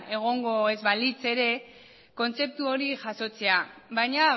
egongo ez balitz ere kontzeptu hori jasotzea baina